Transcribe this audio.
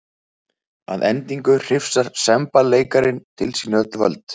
Að endingu hrifsar semballeikarinn til sín öll völd.